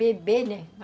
Beber, né?